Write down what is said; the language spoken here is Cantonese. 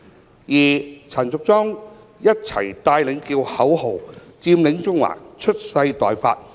至於陳淑莊議員則一起帶領叫口號："佔領中環，蓄勢待發。